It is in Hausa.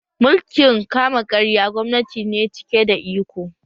Mulkin kama karya gwamnati ne cike da iko